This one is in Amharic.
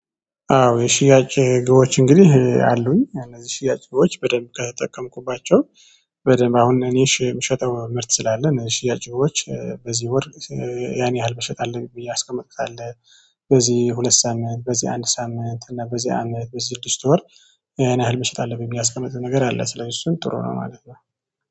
አዎ የሽያጭ ግቦች እንግዲህ አሉኝ እነዚህ የሽያጭ ግቦች በደንብ ከተጠቀምኩባቸው። በደንብ አሁን እኔ የምሸጠው ምርት ስላለኝ እኔ ሽያጭ ወጪዎች በዚህ ወር ያኔ ያህል መሸጥ አለብኝ ብዬ ያቀመጥኩት አለ። በዚህ ሁለት ሳምንት በዚህ አንድ ሳምንት እና በዚህ አመት በዚህ ስድስት ወር ያን ያህል መሸጥ አለብኝ ብዬ ያስቀመጥኩት ነገር አለ። ስለዚህ እሱም ጥሩ ነው ማለት ነው።